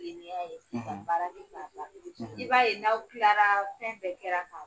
Kileniya ye, , ka bara kɛ ka ban, , i b'a ye n'aw kilara fɛn bɛɛ kɛra ka